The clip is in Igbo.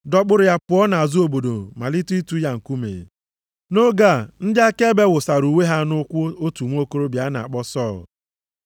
dọkpụrụ ya pụọ nʼazụ obodo malite ịtụ ya nkume. Nʼoge a, ndị akaebe wụsara uwe ha nʼụkwụ otu nwokorobịa a na-akpọ Sọl.